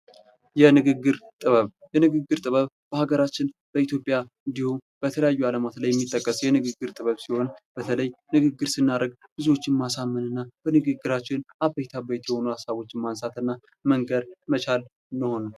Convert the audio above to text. የንግግር ጥበብ የንግግር ጥበብ በሀገራችን በኢትዮጵያ እንዲሁም በተለያዩ አለማት ላይ የሚጠቀስ የንግግር ሲሆን በተለይ ንግግር ስናደርግ ብዙዎችን ማሳመን እና በንግግራችን አበይት አበይት የሆነ ሀሳቦችን ማንሳትና መንገር መቻል ሲሆን